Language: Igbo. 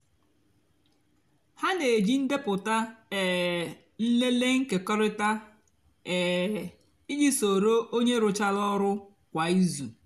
hà nà-èjí ndepụta um nlele nkekọrịta um íjì sóró ónyé rùchárá ọrụ kwá ízú.